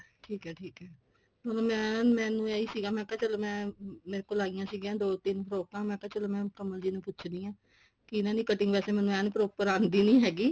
ਠੀਕ ਐ ਠੀਕ ਐ ਹੁਣ ਮੈਂ ਮੈਨੂੰ ਇਹੀ ਸੀਗਾ ਕਿ ਚੱਲੋ ਮੈਂ ਮੇਰੇ ਕੋਲ ਆਇਆ ਸੀਗੀਆ ਦੋ ਤਿੰਨ ਫ੍ਰੋਕਾ ਮੈਂ ਕਿਹਾ ਚਲੋ ਮੈਂ ਕਮਲ ਜੀ ਨੂੰ ਪੁੱਛਦੀ ਆ ਕਿ ਇਹਨਾ ਦੀ cutting ਵੈਸੇ ਮੈਨੂੰ proper ਆਂਦੀ ਨਹੀਂ ਹੈਗੀ